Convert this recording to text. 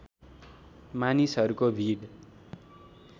मानिसहरूको भिड